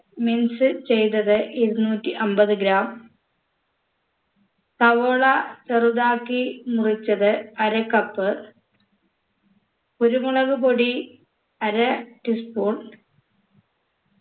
mince ചെയ്തത് ഇരുന്നൂറ്റി അമ്പത് gram സവോള ചെറുതാക്കി മുറിച്ചത് അര cup കുരുമുളകുപൊടി അര tea spoon